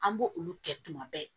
An b'o olu kɛ tuma bɛɛ